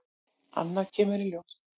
Annað kemur ljós